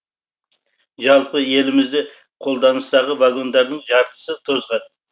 жалпы елімізде қолданыстағы вагондардың жартысы тозған